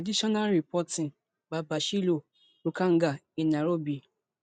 additional reporting by basillioh rukanga in nairobi